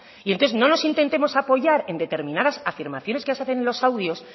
entonces no nos intentemos apoyar en determinas afirmaciones que se hacen en los audios